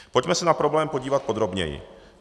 Pojďme se na problém podívat podrobněji.